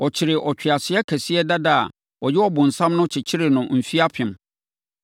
Ɔkyeree ɔtweaseɛ kɛseɛ dada a ɔyɛ ɔbonsam no kyekyeree no mfeɛ apem.